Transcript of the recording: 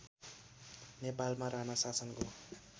नेपालमा राणा शासनको